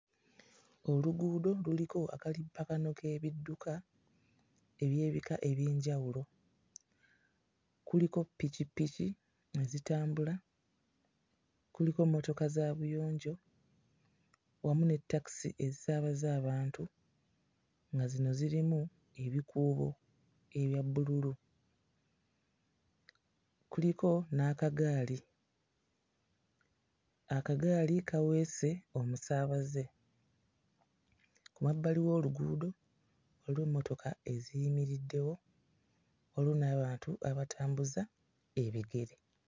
Oluguudo luliko akalippagano k'ebidduka eby'ebika eby'enjawulo. Kuliko ppikipiki ezitambula, kuliko mmotoka za buyonjo wamu ne takisi ezisaabaza abantu nga zino zirimu ebikuubo ebya bbululu, kuliko n'akagaali; akagaali kaweese omusaabaze. Ku mabbali w'oluguudo waliwo emmotoka eziyimiriddeyo, waliyo n'abantu abatambuza ebigere.